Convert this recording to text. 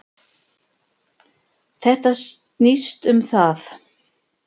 Þetta snýst um það.